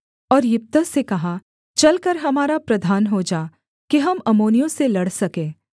और यिप्तह से कहा चलकर हमारा प्रधान हो जा कि हम अम्मोनियों से लड़ सके